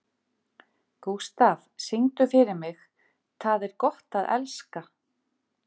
Gústaf, syngdu fyrir mig „Tað er gott at elska“.